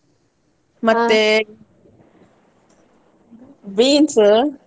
beans .